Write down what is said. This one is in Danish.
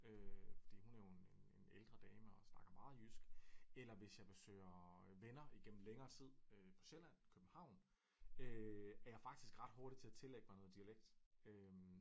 Fordi hun er jo en en ældre dame og snakker meget jysk eller hvis jeg besøger venner igennem længere tid på Sjælland København øh er jeg faktisk ret hurtig til at tillægge mig noget dialekt